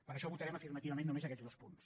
per això votarem afirmativament només aquests dos punts